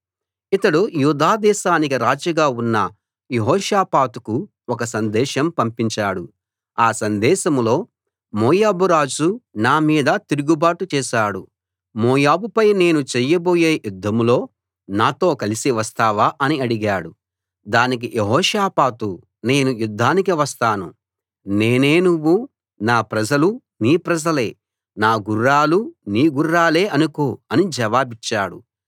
ఇతడు యూదా దేశానికి రాజుగా ఉన్న యెహోషాపాతుకు ఒక సందేశం పంపించాడు ఆ సందేశంలో మోయాబు రాజు నా మీద తిరుగుబాటు చేశాడు మోయాబుపై నేను చేయబోయే యుద్ధంలో నాతో కలిసి వస్తావా అని అడిగాడు దానికి యెహోషాపాతు నేను యుద్ధానికి వస్తాను నేనే నువ్వూ నా ప్రజలు నీ ప్రజలే నా గుర్రాలు నీ గుర్రాలే అనుకో అని జవాబిచ్చాడు